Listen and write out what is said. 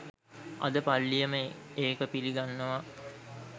අද පල්ලියම ඒක පිලි ගන්නව